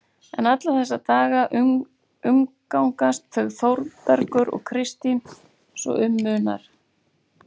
En alla þessa daga umgangast þau Þórbergur og Kristín svo um munar.